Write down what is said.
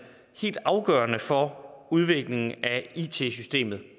helt afgørende for udviklingen af it systemet